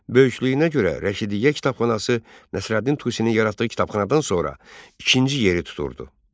Böyüklüyünə görə Rəşidiyyə kitabxanası Nəsrəddin Tusinin yaratdığı kitabxanadan sonra ikinci yeri tuturdu.